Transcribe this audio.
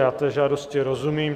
Já té žádosti rozumím.